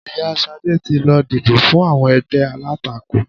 Ìyá Ṣadé ti lọ dìbò fún àwọn ègbé alátakò